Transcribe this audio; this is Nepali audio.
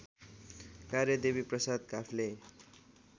कार्य देवीप्रसाद काफ्ले